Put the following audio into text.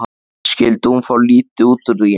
Skyldi hún fá mikið út úr því?